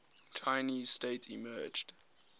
chinese state emerged